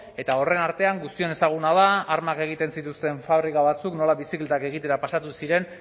eta horren artean guztion ezaguna da armak egiten zituzten fabrika batzuk nola bizikletak egitera pasatu ziren